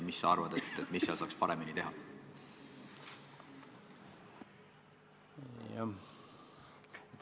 Mis sa arvad, mida seal saaks paremini teha?